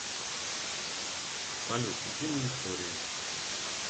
салют утиные истории